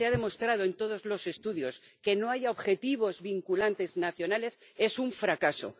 Se ha demostrado en todos los estudios que no haya objetivos vinculantes nacionales es un fracaso.